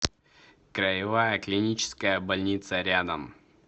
краевая клиническая больница рядом